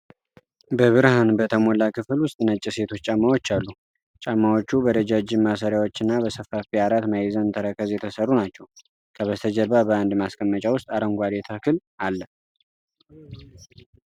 በብርሃን በተሞላ ክፍል ውስጥ ነጭ የሴቶች ጫማዎች አሉ። ጫማዎቹ በረጃጅም ማሰሪያዎችና በሰፋፊ አራት ማዕዘን ተረከዝ የተሰሩ ናቸው። ከበስተጀርባ በአንድ ማስቀመጫ ውስጥ አረንጓዴ ተክል አለ።